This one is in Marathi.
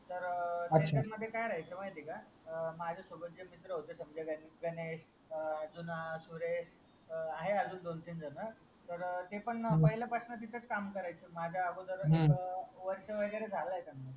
अच्छाकाय राहायचा म्हायती का माझ्या सोबत जे मित्र होते जुना सुरेश आहे अजून दोन तीन जण तर ते पण पहिल्या पासून तेथेच काम करतात माझा अगोदर हम्म वर्ष वगैरे झालय त्यांना